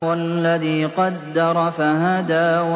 وَالَّذِي قَدَّرَ فَهَدَىٰ